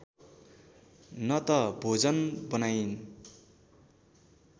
न त भोजन बनाइन्